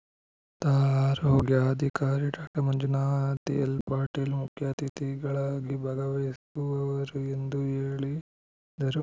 ತಾ ಆರೋಗ್ಯಾಧಿಕಾರಿ ಡಾಕ್ಟರ್ ಮಂಜುನಾಥ್ ಎಲ್‌ಪಾಟೀಲ್‌ ಮುಖ್ಯ ಅತಿಥಿಗಳಾಗಿ ಭಾಗವಹಿಸುವರು ಎಂದು ಹೇಳಿದರು